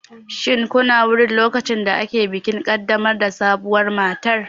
Shin kuna wurin lokacin da ake bikin ƙaddamar da sabuwar matar?